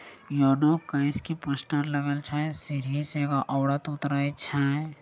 ये no coins की poster लगल छै सीढ़ी से एगो औरत उतरे छै |